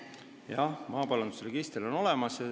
Jah, maaparandusregister on olemas.